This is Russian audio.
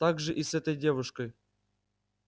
так же и с этой девушкой